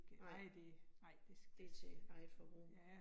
Nej. Det til eget forbrug